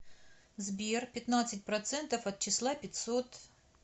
сбер пятнадцать процентов от числа пятьсот